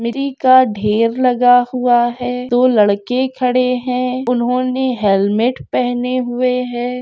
मिटटी का ढेर लगा हुआ है दो लड़के खड़े है उन्होंने हेलमेट पहने हुए है।